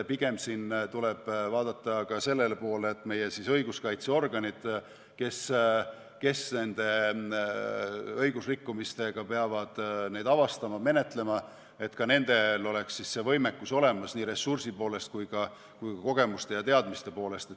Pigem tuleb vaadata selle poole, et ka meie õiguskaitseorganitel, kes peavad neid õigusrikkumisi avastama-menetlema, oleks see võimekus olemas nii ressursi kui ka kogemuste ja teadmiste poolest.